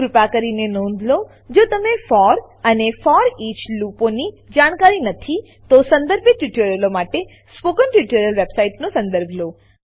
કૃપા કરી નોંધ લો જો તમને ફોર ફોર અને ફોરીચ ફોરઈચ લૂપોની જાણકારી નથી તો સંદર્ભિત સ્પોકન ટ્યુટોરીયલો માટે સ્પોકન ટ્યુટોરીયલ વેબસાઈટનો સદર્ભ લો